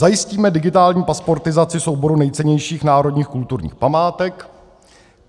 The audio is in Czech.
Zajistíme digitální pasportizaci souboru nejcennějších národních kulturních památek.